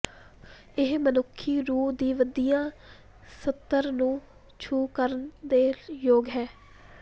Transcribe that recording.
ਇਹ ਮਨੁੱਖੀ ਰੂਹ ਦੀ ਵਧੀਆ ਸਤਰ ਨੂੰ ਛੂਹ ਕਰਨ ਦੇ ਯੋਗ ਹੈ